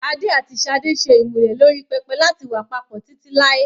Adé àti Sade ṣe ìmúlẹ̀ lórí pẹpẹ láti wà papọ̀ títí láì.